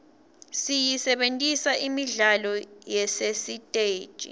siyisebentisela imidlalo yasesiteji